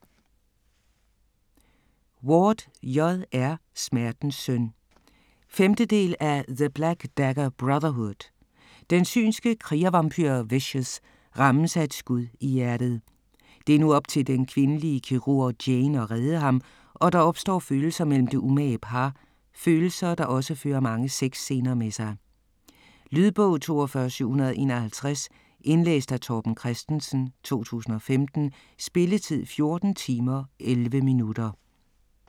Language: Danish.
Ward, J. R.: Smertens søn 5. del af The black dagger brotherhood. Den synske krigervampyr Vishous rammes af et skud i hjertet. Det er nu op til den kvindelige kirurg Jane at redde ham og der opstår følelser mellem det umage par - følelser, der også fører mange sexscener med sig. Lydbog 42751 Indlæst af Torben Christensen, 2015. Spilletid: 14 timer, 11 minutter.